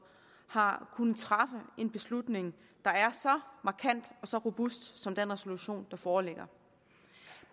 har kunnet træffe en beslutning der er så markant og så robust som den resolution der foreligger